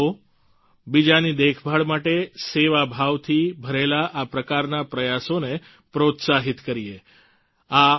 આવો બીજાની દેખભાળ માટે સેવાભાવથી ભરેલા આ પ્રકારના પ્રયાસોને પ્રોત્સાહિત કરીએ